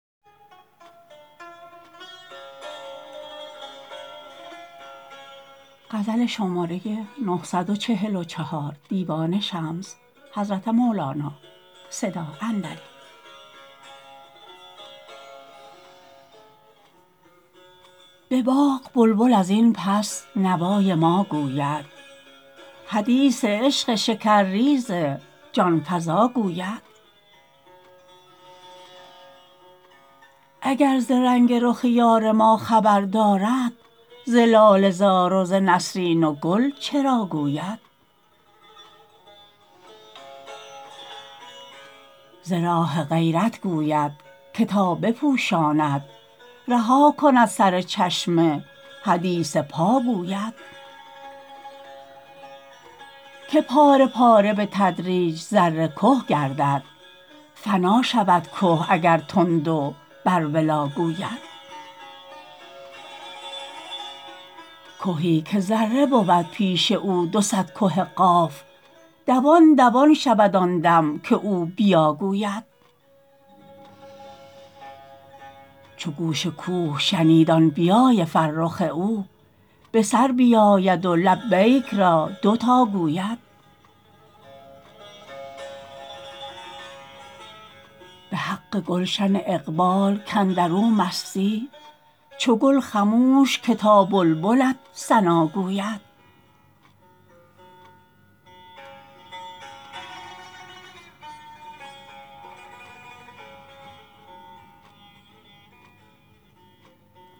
به باغ بلبل از این پس نوای ما گوید حدیث عشق شکرریز جان فزا گوید اگر ز رنگ رخ یار ما خبر دارد ز لاله زار و ز نسرین و گل چرا گوید ز راه غیرت گوید که تا بپوشاند رها کند سر چشمه حدیث پا گوید که پاره پاره به تدریج ذره که گردد فنا شود که اگر تند و بر ولا گوید کهی که ذره بود پیش او دو صد که قاف دوان دوان شود آن دم که او بیا گوید چو گوش کوه شنید آن بیای فرخ او به سر بیاید و لبیک را دو تا گوید به حق گلشن اقبال کاندر او مستی چو گل خموش که تا بلبلت ثنا گوید